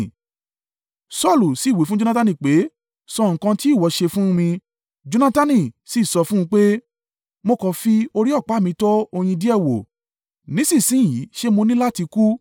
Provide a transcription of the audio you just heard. Saulu sì wí fún Jonatani pé, “Sọ nǹkan tí ìwọ ṣe fún mi.” Jonatani sì sọ fún un pé, “Mo kàn fi orí ọ̀pá mi tọ́ oyin díẹ̀ wò. Nísinsin yìí ṣé mo ní láti kú?”